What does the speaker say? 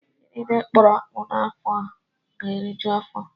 Ndị niile kọrọ akpụ n'afọ a ga-eriju afọ